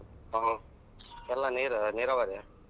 ಹ್ಮ್ ಹೊಲ ನೀರ್ ನೀರಾವರಿಯ.